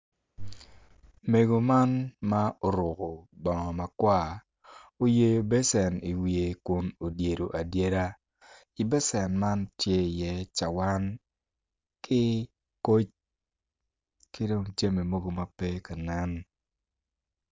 Mego man ma oruko bongo ma kwar oyeyo becen i wiye kun odyedo adyeda i becen man tye iye cuwan ki koc ki dong jami mogo ma pe tye kanen,